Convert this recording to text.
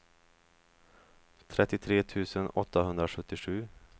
trettiotre tusen åttahundrasjuttiosju